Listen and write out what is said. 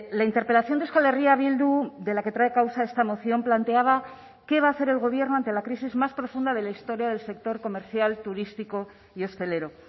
la interpelación de euskal herria bildu de la que trae causa esta moción planteaba qué va a hacer el gobierno ante la crisis más profunda de la historia del sector comercial turístico y hostelero